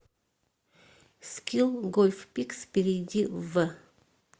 скилл гольф пикс перейди в